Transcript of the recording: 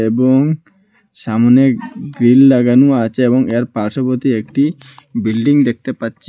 এবং সামনে গ্রীল লাগানো আছে এবং এর পাশোবতী একটি বিল্ডিং দেখতে পাচ্ছি।